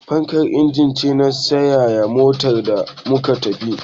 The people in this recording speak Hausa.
Fankar injin ce na sanyaya motar da mu na tafiya